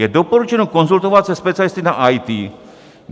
Je doporučeno konzultovat se specialisty na IT.